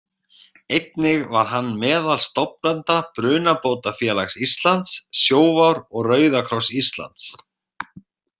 Einnig var hann meðal stofnenda Brunabótafélags Íslands, Sjóvár og Rauða kross Íslands.